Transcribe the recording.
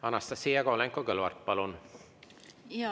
Anastassia Kovalenko-Kõlvart, palun!